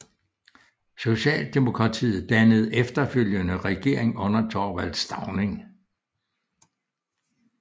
Socialdemokratiet dannede efterfølgende regering under Thorvald Stauning